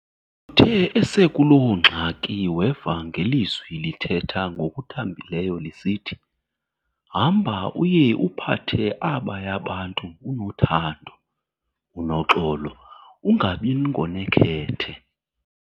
Uthe esekuloo ngxaki weva ngelizwi lithetha ngokuthambileyo lisithi, "Hamba uye uphathe abaya bantu unothando, unoxolo, ungabi ngonekhethe."